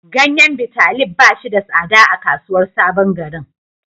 Ganyen Bitalib ba shi da tsada a kasuwar sabon garin.